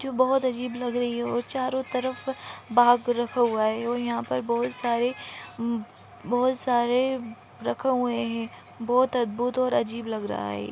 जो बहुत अजीब लग रही है और चारों तरफ बाग़ रखा हुआ है और यहाँ पर बहुत सारे मं बहुत सारे रखे हुए हैं बहुत अद्भुत और अजीब लग रहा है ये ।